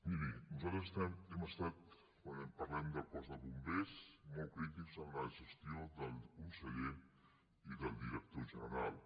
mirin nosaltres hem estat quan parlem del cos de bombers molt crítics amb la gestió del conseller i del director general